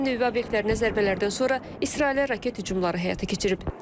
İran nüvə obyektlərinə zərbələrdən sonra İsrailə raket hücumları həyata keçirib.